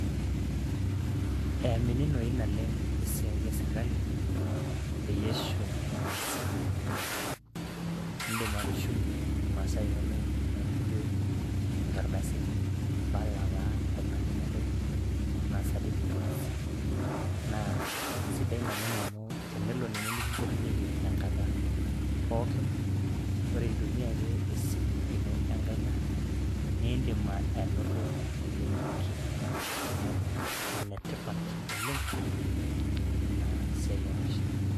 eyamininoi naleng' esiai esirkali, peyie eshum imasaa inonok. idim atushumie imasaa inonok naijo inkardasini, impala taa kuna ninoto, anaa certificates .naa sidai naleng amu tenelo ninye nikimpotunyeki tenkata pookin ore intumia ake esimu ino enkaina, naa idim anoto teleleki. neeku enetipat oleng ina siai oo mashinini.